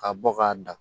Ka bɔ k'a dan